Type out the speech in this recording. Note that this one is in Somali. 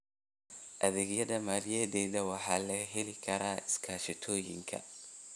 Adeegyada maaliyadeed waxaa laga heli karaa iskaashatooyinka.